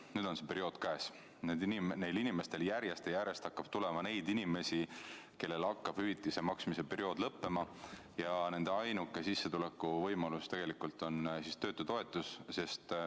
Nüüd on see periood käes, järjest ja järjest tuleb juurde neid inimesi, kellel hakkab hüvitise maksmise periood lõppema ja nende ainuke sissetuleku võimalus tegelikult on töötutoetus.